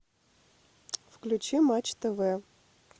включи матч тв